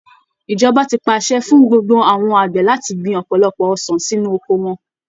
Ìjọba ti pàṣẹ fún gbogbo àwọn àgbẹ̀ láti gbin ọ̀pọ̀lọpọ̀ ọsàn sínú oko wọn